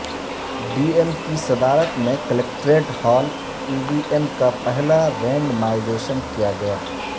D M کی صدارت میں collectorate hall E V M کا پہلا رینڈمائزیشن کیاگیا